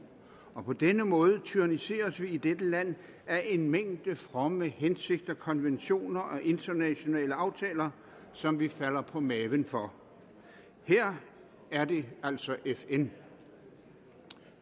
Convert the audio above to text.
og på denne måde tyranniseres vi i dette land af en mængde fromme hensigter konventioner og internationale aftaler som vi falder på maven for her er det altså fn